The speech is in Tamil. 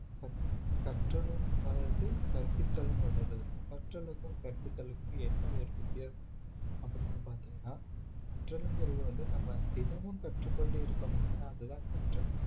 கற்றலும் வளர்ந்து கற்பித்தலும் வளருது கற்றலுக்கும் கற்பித்தலுக்கும் என்ன ஒரு வித்தியாசம் அப்படின்னு பார்த்தீங்கன்னா கற்றல்ங்கிறது வந்து நம்ம தினமும் கற்றுக் கொண்டு இருக்கோமில்லையா அதுதான் கற்றல்